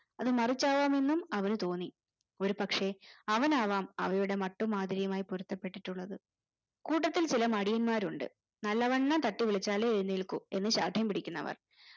അത് മറിച്ചാവാമെന്നും അവനുതോന്നി ഒരു പക്ഷെ അവനാവാം അവരുടെ മട്ടുമ്മാതിരിയുമായി പൊരുത്തപ്പെട്ടിട്ടുള്ളത് കൂട്ടത്തിൽ ചില മടിയന്മാരുണ്ട് നല്ലവണ്ണം തട്ടിവിളിച്ചാലേ എഴുന്നേൽക്കു എന്ന് ശാഠ്യം പിടിക്കുന്നവർ